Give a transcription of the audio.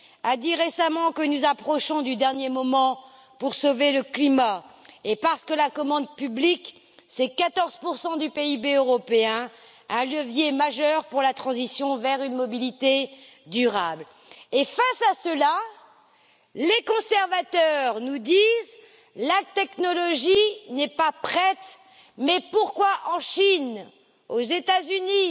a dit récemment que nous nous approchons de la dernière limite pour sauver le climat et parce que la commande publique, c'est 14 du PIB européen, un levier majeur pour la transition vers une mobilité durable. Et face à cela, les conservateurs nous disent la technologie n'est pas prête. Mais pourquoi la Chine et les États Unis